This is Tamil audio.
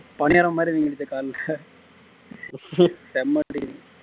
பணியாரம் மாதிரி வீங்கிருச்சு கால்ல செம அடி